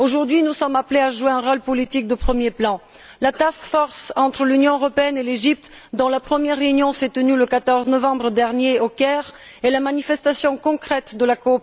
Aujourd'hui, nous sommes appelés à jouer un rôle politique de premier plan. La task force entre l'Union européenne et l'Égypte, dont la première réunion s'est tenue le 14 novembre dernier au Caire, est la